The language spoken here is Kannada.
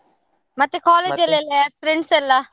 ಮತ್ತೆ ಎಲ್ಲ friends ಎಲ್ಲ.